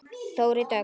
Þórey Dögg.